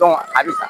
a bi sa